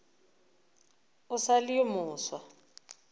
o sa le yo mofsa